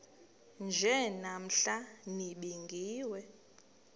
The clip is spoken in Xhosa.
nje namhla nibingiwe